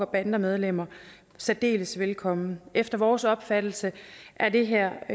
bandemedlemmer særdeles velkommen efter vores opfattelse er det her